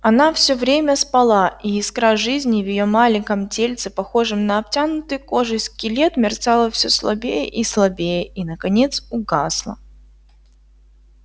она всё время спала и искра жизни в её маленьком тельце похожем на обтянутый кожей скелет мерцала всё слабее и слабее и наконец угасла